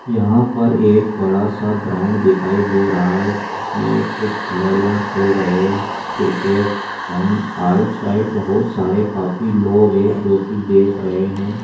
यहाँ पर एक बड़ा सा ग्राउंड दिखाई दे रहा है जिसमें एक कुछ खिलाड़ियां खेल रहे हैं क्रिकेट एण्ड आउट साइड बहुत सारे काफी लोग हैं जो की देख रहे हैं।